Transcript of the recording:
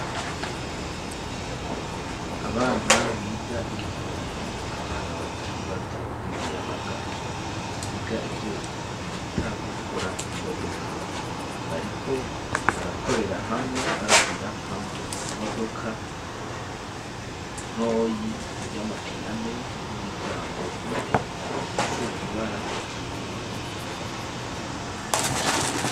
Abana biga igifundi, abana batari bato ,b'imiyabaga biga ivyo bita gukora imodoka, bariko barakorera hamwe ,barabira hamwe, imodoka ntoyi ,y'amapinane, n'imiryango ine, ifise ibara ritukura